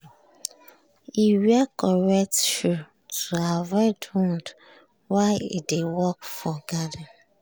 e wear correct shoe to avoid wound while e dey work for garden.